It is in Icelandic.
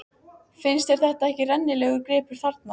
Finnst þér þetta ekki rennilegur gripur þarna?